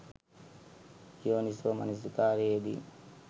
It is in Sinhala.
යෝනිසෝ මනසිකාරයේ යෙදීම